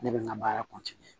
Ne bɛ n ka baara